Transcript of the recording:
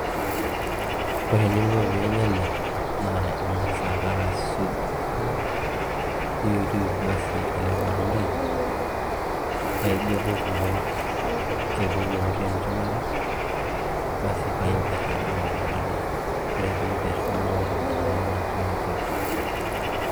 Ore eninko pee inya ele ing'as ake aisuj niyutuyut basi ele matundai paa inguetu kulo kiku lootii enchumata basi paa imperr taaduo tanakata ore pee imperr niko ina are natii atua.